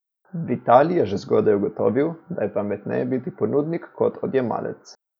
Vitalij je že zgodaj ugotovil, da je pametneje biti ponudnik kot odjemalec.